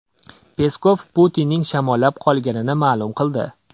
Peskov Putinning shamollab qolganini ma’lum qildi .